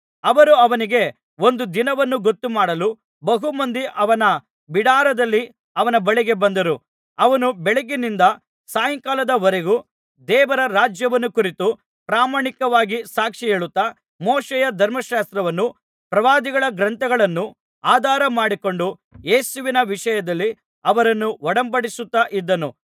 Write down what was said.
ಅವರು ಅವನಿಗೆ ಒಂದು ದಿನವನ್ನು ಗೊತ್ತುಮಾಡಲು ಬಹುಮಂದಿ ಅವನ ಬಿಡಾರದಲ್ಲಿ ಅವನ ಬಳಿಗೆ ಬಂದರು ಅವನು ಬೆಳಗ್ಗಿನಿಂದ ಸಾಯಂಕಾಲದ ವರೆಗೂ ದೇವರ ರಾಜ್ಯವನ್ನು ಕುರಿತು ಪ್ರಾಮಾಣಿಕವಾಗಿ ಸಾಕ್ಷಿಹೇಳುತ್ತಾ ಮೋಶೆಯ ಧರ್ಮಶಾಸ್ತ್ರವನ್ನೂ ಪ್ರವಾದಿಗಳ ಗ್ರಂಥಗಳನ್ನೂ ಆಧಾರಮಾಡಿಕೊಂಡು ಯೇಸುವಿನ ವಿಷಯದಲ್ಲಿ ಅವರನ್ನು ಒಡಂಬಡಿಸುತ್ತಾ ಇದ್ದನು